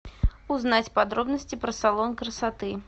узнать подробности про салон красоты